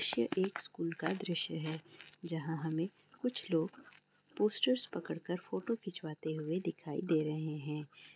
यह एक स्कूल का दृश्य है जहाँ हमें कुछ लोग पोस्टर्स पकड़ कर फोटो खिंचवाते हुए दिखाई दे रहें हैं।